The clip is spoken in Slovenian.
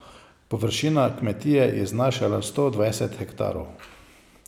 Površina kmetije je znašala sto dvajset hektarov.